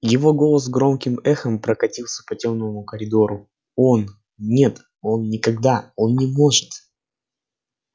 его голос громким эхом прокатился по тёмному коридору он нет он никогда он не может